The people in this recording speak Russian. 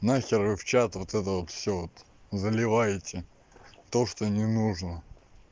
нахер вы в чат вот это вот всё заливаете то что не нужно